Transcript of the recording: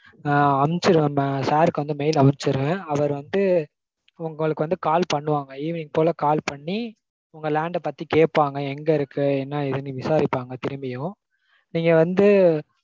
ஆஹ் அமிச்சிருவேன் mam. நா sir க்கு mail அனுப்ச்சிருவேன். அவர் வந்து உங்களுக்கு வந்து call பண்ணுவாங்க. evening போல call பண்ணி உங்க land பத்தி கேப்பாங்க. எங்க இருக்கு என்ன ஏதுன்னு விசாரிப்பாங்க திரும்பியும்